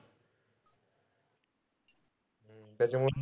त्याच्यामुळं,